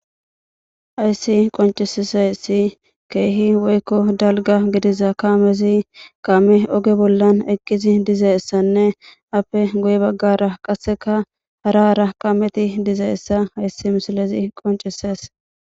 Ayssi qoncisise si keehi woykko dalga gidiza kaamezi qaame oge bollan eqqizi dizaessanne appe guye baggara qasseka hara hara qameti diza essa hayssi misilezi qoncises.